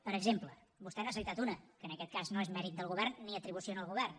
per exemple vostè n’ha citat una que en aquest cas no és mèrit del govern ni atribució al govern